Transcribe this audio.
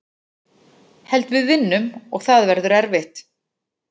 Held við vinnum og það verður erfitt.